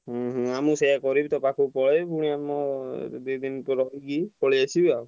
ହୁଁ ହୁଁ ମୁଁ ସେଇଆ କରିବି ତୋ ପାଖକୁ ପଳେଇବି ପୁଣି ଆମ ଦି ଦିନ ରହିକି ପଳେଇଆସିବି ଆଉ।